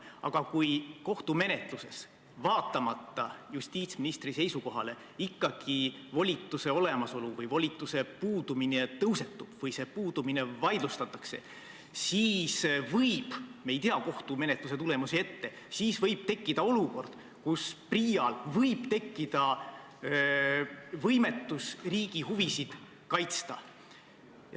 Aga kui kohtumenetluses, vaatamata justiitsministri seisukohale, ikkagi volituse olemasolu või selle puudumise küsimus tõusetub või selle puudumine vaidlustatakse, siis me küll ei tea kohtumenetluse tulemusi ette, aga võib tekkida olukord, kus PRIA-l tekib võimetus riigi huvisid kaitsta.